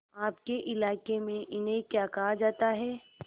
आपके इलाके में इन्हें क्या कहा जाता है